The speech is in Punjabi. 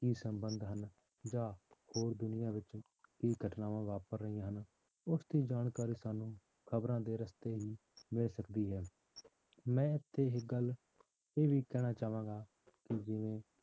ਕੀ ਸੰਬੰਧ ਹਨ ਜਾਂ ਹੋਰ ਦੁਨੀਆਂ ਵਿੱਚ ਕੀ ਘਟਨਾਵਾਂ ਵਾਪਰ ਰਹੀਆਂ ਹਨ ਉਸਦੀ ਜਾਣਕਾਰੀ ਸਾਨੂੰ ਖ਼ਬਰਾਂ ਦੇ ਰਸਤੇ ਹੀ ਮਿਲ ਸਕਦੀ ਹੈ, ਮੈਂ ਇੱਥੇ ਇੱਕ ਗੱਲ ਇਹ ਵੀ ਕਹਿਣਾ ਚਾਹਾਂਗਾ ਜਿਵੇਂ